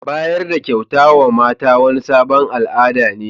Bayar da kyauta ma mata wani sabon al'ada ne.